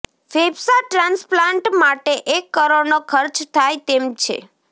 ફેફસા ટ્રાન્સપ્લાન્ટ માટે એક કરોડનો ખર્ચ થાય તેમ છે